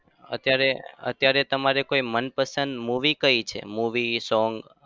અત્યારે અત્યારે તમારે કોઈ મનપસંદ movie કઈ છે? movie song